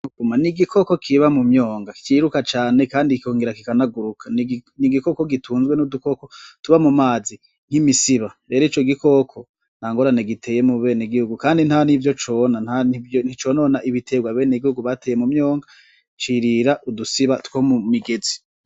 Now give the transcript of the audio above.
Inkuma :n'igikoko kiba mu myonga ciruka cane kikongera kikanaguruka, n'igikoko gitunzwe n'udukoko tuba mu mazi :nk'imisiba, n'utundi dukoko, ntangorane giteye mubeneguhugu kandi ntavyo cona nticonona ibiterwa abenegihugu bateye mu myonga cirira udusiba two mu migezi.